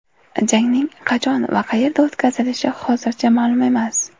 Jangning qachon va qayerda o‘tkazilishi hozircha ma’lum emas.